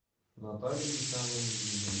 натальи михайловны ильиной